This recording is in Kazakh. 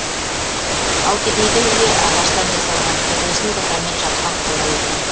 ал кедейдің үйі ағаштан жасалған төбесін бұтамен жапқан қора екен